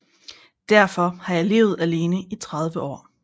Derfor har jeg levet alene i 30 år